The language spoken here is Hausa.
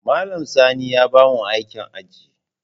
Malam Sani ya bamu aikin aji.